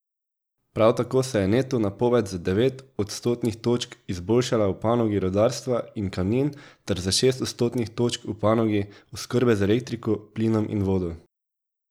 Prav tako se je neto napoved za devet odstotnih točk izboljšala v panogi rudarstva in kamnin ter za šest odstotnih točk v panogi oskrbe z elektriko, plinom in vodo.